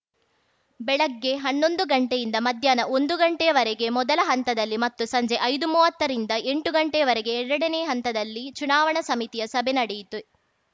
ಬೆಳಗ್ಗೆ ಹನ್ನೊಂದು ಗಂಟೆಯಿಂದ ಮಧ್ಯಾಹ್ನ ಒಂದು ಗಂಟೆಯವರೆಗೆ ಮೊದಲ ಹಂತದಲ್ಲಿ ಮತ್ತು ಸಂಜೆ ಐದುಮುವತ್ತ ರಿಂದ ಎಂಟು ಗಂಟೆಯವರೆಗೆ ಎರಡನೇ ಹಂತದಲ್ಲಿ ಚುನಾವಣಾ ಸಮಿತಿಯ ಸಭೆ ನಡೆಯಿತು